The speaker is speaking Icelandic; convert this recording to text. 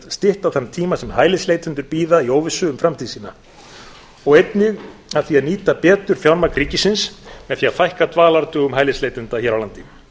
stytta þann tíma sem hælisleitendur bíða í óvissu um framtíð sína og einnig að því að nýta betur fjármagn ríkisins með því að fækka dvalardögum hælisleitenda hér á landi